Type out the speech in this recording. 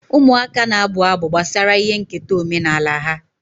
Ụmụaka na-abụ abụ gbasara ihe nketa omenala ha.